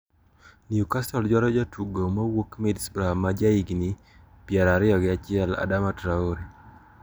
Newcastle dwaro jatugo mawuok Middlesbrough ma ja higni pier ariyo gi achiel Adama Troure.